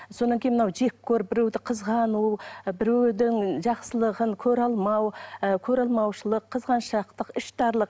содан кейін мынау жеккөріп біреуді қызғану біреудің жақсылығын көре алмау ы көреалмаушылық қызғаншақтық іштарлық